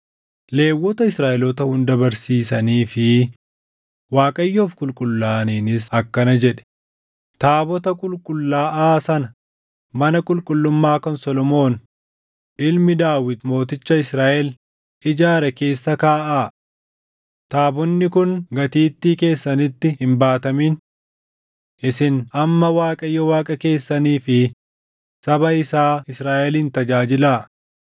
Lewwota Israaʼeloota hunda barsiisanii fi Waaqayyoof qulqullaaʼaniinis akkana jedhe; “Taabota qulqullaaʼaa sana mana qulqullummaa kan Solomoon ilmi Daawit mooticha Israaʼel ijaare keessa kaaʼaa. Taabonni kun gatiittii keessanitti hin baatamin. Isin amma Waaqayyo Waaqa keessanii fi saba isaa Israaʼelin tajaajilaa.